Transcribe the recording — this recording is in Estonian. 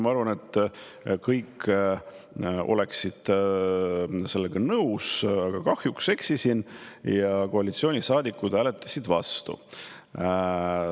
Ma arvasin, et kõik oleksid sellega nõus, aga kahjuks eksisin ja koalitsioonisaadikud hääletasid vastu.